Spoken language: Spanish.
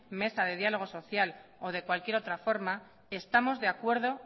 mesa de diálogo social o de cualquier otra forma estamos de acuerdo